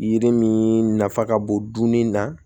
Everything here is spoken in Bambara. Yiri min nafa ka bon dunni na